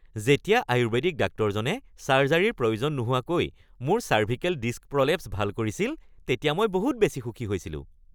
যেতিয়া আয়ুৰ্বেদিক ডাক্তৰজনে ছাৰ্জাৰীৰ প্ৰয়োজন নোহোৱাকৈ মোৰ চাৰ্ভিকেল ডিস্ক প্ৰলেপ্স ভাল কৰিছিল তেতিয়া মই বহুত বেছি সুখী হৈছিলোঁ।